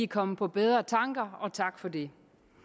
kommet på bedre tanker og tak for det